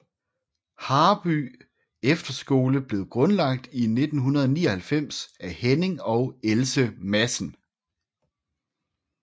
Haarby Efterskole blev grundlagt i 1999 af Henning og Else Madsen